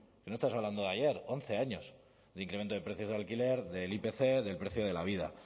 que no estamos hablando de ayer once años de incremento de precios del alquiler del ipc del precio de la vida